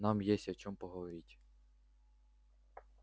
нам есть о чем поговорить